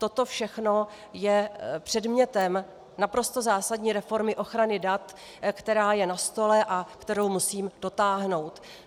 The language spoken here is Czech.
Toto všechno je předmětem naprosto zásadní reformy ochrany dat, která je na stole a kterou musím dotáhnout.